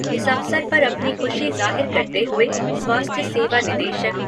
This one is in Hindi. इस अवसर पर अपनी खुशी ज़ाहिर करते हुए स्वास्थ्य सेवा निदेशक